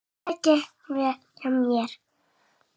Það gekk vel hjá mér.